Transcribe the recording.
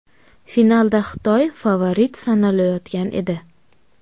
Finalda Xitoy favorit sanalayotgan edi.